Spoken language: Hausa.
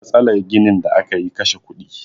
Matsalar ginin da aka yi kashe kudi